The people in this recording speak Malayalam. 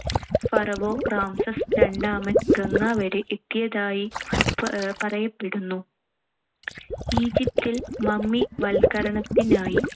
ഫറവോ റാംസസ് രണ്ടാമൻ ഗംഗ വരെ എത്തിയതായി പ~ പറയപ്പെടുന്നു. ഈജിപ്തിൽ മമ്മിവൽക്കരണത്തിനായി